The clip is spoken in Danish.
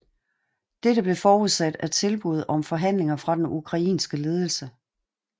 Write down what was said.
Dette blev forudsat af tilbud om forhandlinger fra den ukrainske ledelse